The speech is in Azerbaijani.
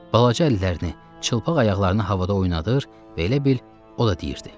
Balaca əllərini, çılpaq ayaqlarını havada oynadır və elə bil o da deyirdi.